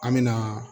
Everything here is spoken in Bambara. An me na